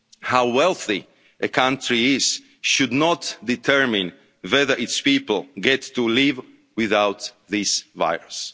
affordable. How wealthy a country is should not determine whether its people get to live without